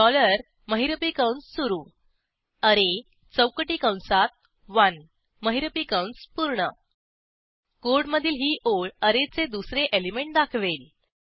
dollar महिरपी कंस सुरू अरे चौकटी कंसात ओने महिरपी कंस पूर्ण कोडमधील ही ओळ ऍरेचे दुसरे एलिमेंट दाखवेल